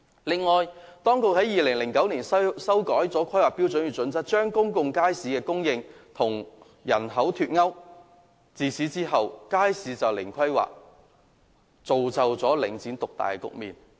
此外，當局在2009年修改《規劃標準》，將公眾街市供應與人口"脫鈎"，自此街市便是"零規劃"，造就領展獨大的局面。